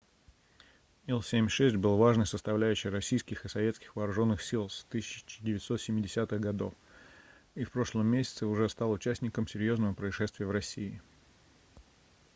ил-76 был важной составляющей российских и советских вооруженных сил с 1970-х гг и в прошлом месяце уже стал участником серьезного происшествия в россии